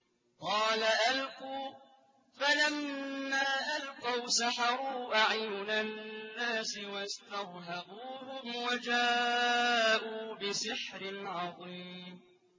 قَالَ أَلْقُوا ۖ فَلَمَّا أَلْقَوْا سَحَرُوا أَعْيُنَ النَّاسِ وَاسْتَرْهَبُوهُمْ وَجَاءُوا بِسِحْرٍ عَظِيمٍ